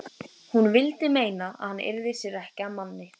Hún vildi meina að hann yrði sér ekki að manni.